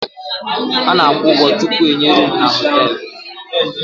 Ana akwụ ụgwọ tupu enye roomu n' hotelú.